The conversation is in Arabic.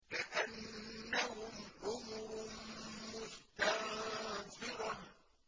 كَأَنَّهُمْ حُمُرٌ مُّسْتَنفِرَةٌ